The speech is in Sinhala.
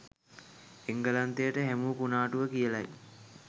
එංගලන්තයට හැමූ කුණාටුව කියලයි